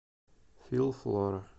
филфлора